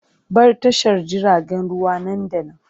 Bar tashar jiragen ruwa nan da nan!